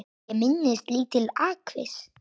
Ég minnist lítils atviks.